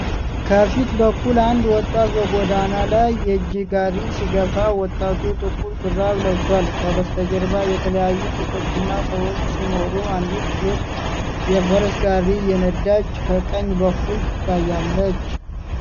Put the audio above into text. ከፊት በኩል አንድ ወጣት በጎዳና ላይ የእጅ ጋሪ ሲገፋ ። ወጣቱ ጥቁር ሹራብ ለብሷል። ከበስተጀርባ የተለያዩ ሱቆችና ሰዎች ሲኖሩ፣ አንዲት ሴት የፈረስ ጋሪ እየነዳች ከቀኝ በኩል ትታያለች።